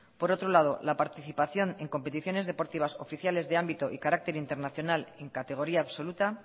por otro lado la participación en competiciones deportivas oficiales y de ámbito y carácter internacional en categoría absoluta